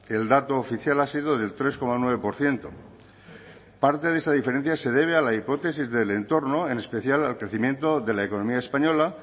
el dato oficial ha sido del tres coma nueve por ciento parte de esa diferencia se debe a la hipótesis del entorno en especial al crecimiento de la economía española